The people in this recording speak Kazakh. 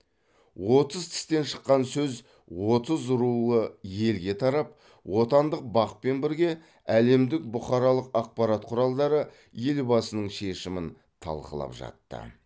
отыз тістен шыққан сөз отыз рулы елге тарап отандық бақ пен бірге әлемдік бұқаралық ақпарат құралдары елбасының шешімін талқылап жатты